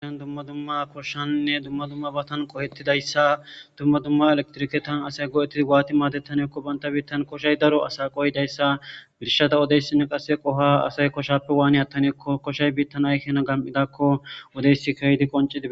dumma dumma koshshaninne dumma dumma batan qohettidayssa dumma dumma elektrike taan asay go7ettidi gaati maatettanekko banta biittan koshay daro asaqoy dayssa birshata odeyssinne qasse qoha asay koshappe waani attanekko koshay biittan ayhina gam7idakko odeysi keydi qoncidii